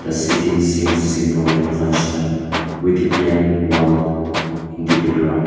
sitting seems simple and functional with a plane wall in the background.